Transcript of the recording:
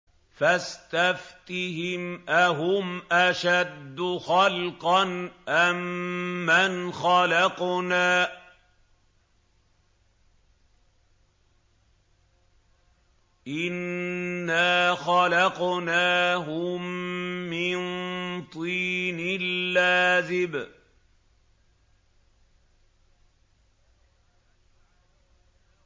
فَاسْتَفْتِهِمْ أَهُمْ أَشَدُّ خَلْقًا أَم مَّنْ خَلَقْنَا ۚ إِنَّا خَلَقْنَاهُم مِّن طِينٍ لَّازِبٍ